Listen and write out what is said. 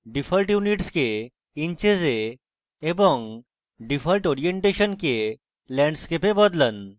default units কে inches এ এবং default orientation কে landscape এ বদলান